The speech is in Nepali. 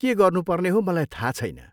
के गर्नुपर्ने हो मलाई थाहा छैन।